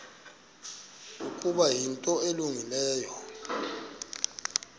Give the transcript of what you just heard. ukuba yinto elungileyo